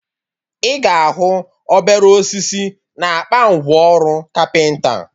Ị ga ahụ obere osisi na akpa ngwa ọrụ kapịnta